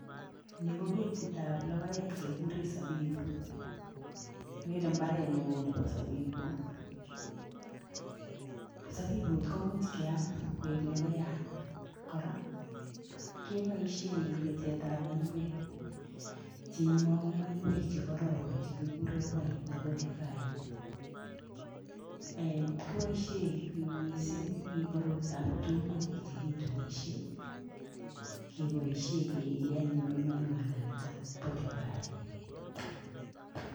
Nii ko ketitab lokoek chekikuren sabibuk, okere imbaret neoo nebo sabibuk, sobibuk imuch Kiam koik lokoyat, kora keboishen richetab maiwek cheimong'u maiwek chekororon chekikuren, wine ak ko difaik eeh kiboishen mising en ikorwekab tumwek chekitunishe kiboishen keyee anyun maiwandaniton no difaik.